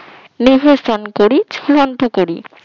নিহসন পরি ফলান্ত পরি